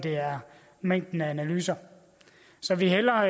mængden af analyser så vi hælder